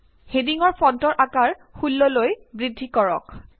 হেডিংৰ ফন্টৰ আকাৰ 16 লৈ বৃদ্ধি কৰক